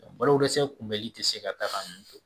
Baloko dɛsɛ kunbɛli tɛ se ka taa nin to